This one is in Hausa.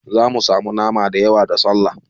Zamu samu nama da yawa da Sallah